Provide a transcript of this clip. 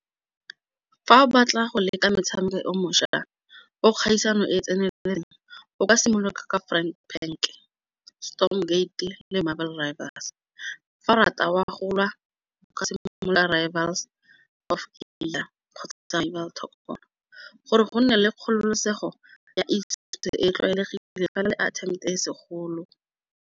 Fa o batla go leka metshameko e o mošwa o kgaisano e e tseneletseng o ka simolola ka fa o rata o a golwa gore go nne le kgololosego ya e tlwaelegile fela le e segolo.